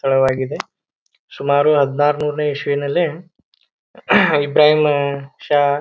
ಸ್ಥಳವಾಗಿದೆ. ಶುಮಾರು ಹದ್ನಾರು ನೂರನೇ ಈಶವಿನಲ್ಲೆ ಇಭ್ರಾಹೀಮ್ ಷಾ--